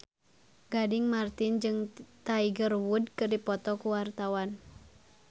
Gading Marten jeung Tiger Wood keur dipoto ku wartawan